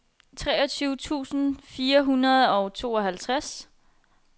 treogtyve tusind fire hundrede og tooghalvtreds